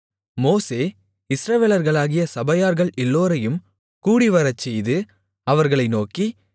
மோசே இஸ்ரவேலர்களாகிய சபையார்கள் எல்லோரையும் கூடிவரச்செய்து அவர்களை நோக்கி